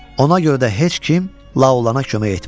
Ona görə də heç kim Laolana kömək etmədi.